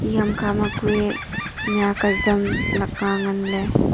eya ham kha ma kue mih huat azam lakka ngan ley.